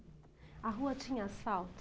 A rua tinha asfalto?